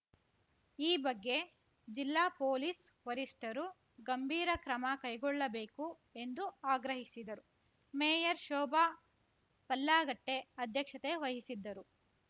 ಈ ಬಗ್ಗೆ ಜಿಲ್ಲಾ ಪೊಲೀಸ್‌ ವರಿಷ್ಟರು ಗಂಭೀರ ಕ್ರಮ ಕೈಗೊಳ್ಳಬೇಕು ಎಂದು ಆಗ್ರಹಿಸಿದರು ಮೇಯರ್ ಶೋಭಾ ಪಲ್ಲಾಗಟ್ಟೆಅಧ್ಯಕ್ಷತೆ ವಹಿಸಿದ್ದರು